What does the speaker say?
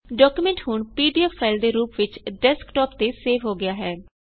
document ਹੁਣ PDF file ਦੇ ਰੂਪ ਵਿੱਚ ਡੈਸਕਟੌਪ ਤੇ ਸੇਵ ਹੋ ਗਿਆ ਹੈ